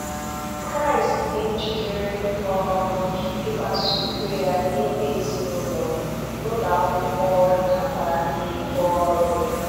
Kraịst dị njikere um ịgbasa udo ya n'ime ezinụlọ, n'ụlọ akwụkwọ na kwa n'ebe ọrụ.